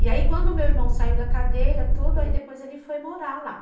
E aí quando o meu irmão saiu da cadeia, tudo, aí depois ele foi morar lá.